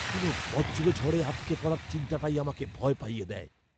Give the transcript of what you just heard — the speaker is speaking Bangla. কোনও বজ্রঝড়ে আটকে পড়ার চিন্তাটাই আমাকে ভয় পাইয়ে দেয়।